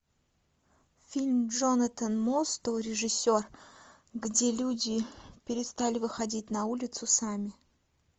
фильм джонатан мостоу режиссер где люди перестали выходить на улицу сами